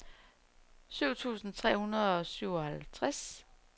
syv tusind tre hundrede og syvoghalvtreds